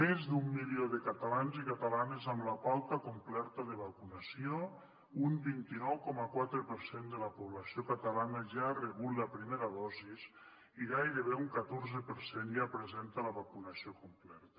més d’un milió de catalans i catalanes amb la pauta complerta de vacunació un vint nou coma quatre per cent de la població catalana ja ha rebut la primera dosis i gairebé un catorze per cent ja presenta la vacunació completa